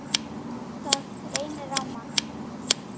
Það reynir á mann!